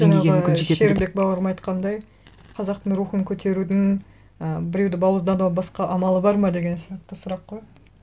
деңгейге мүмкін шерімбек бауырым айтқандай қазақтың рухын көтерудің і біреуді бауыздаудан басқа амалы бар ма деген сияқты сұрақ қой